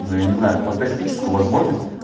но я не знаю фантастическую возможность